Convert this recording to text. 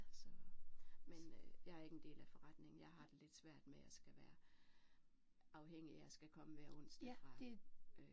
Så men øh jeg er ikke en del af forretningen jeg har det lidt svært med at skal være afhængig af at skal komme hver onsdag fra øh